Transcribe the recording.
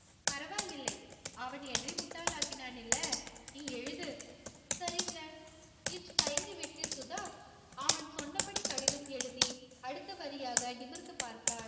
பரவாயில்லை. அவன் என்னை முட்டாளாக்கினான் இல்ல, நீ எழுது. சரிங்க என்று தயங்கிவிட்டு சுதா அவன் சொன்னபடி கடிதம் எழுதி அடுத்தபடியாக நிமிர்ந்து பார்த்தாள்.